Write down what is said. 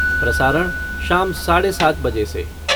प्रसारणः शाम साढ़े सात बजे से।